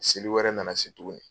Seli wɛrɛ na na se tuguni.